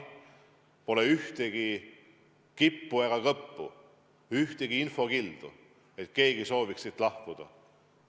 Pole kippu ega kõppu, ühtegi infokildu, et keegi sooviks siit lahkuda.